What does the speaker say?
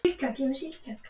En ég vil það ekki lengur.